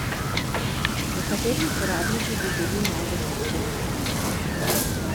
Nekateri uporabniki bi bili najbrž odklopljeni.